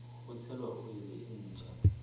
ho tshela oli e ntjha